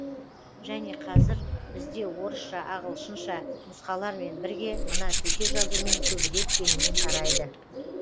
және қазір бізде орысша ағылшынша нұсқалармен бірге мына төте жазумен көбірек кеңінен тарайды